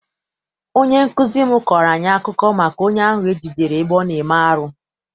Onye nkụzi m kọọrọ anyị akụkọ maka onye ahụ e jidere ebe ọ na-eme arụ.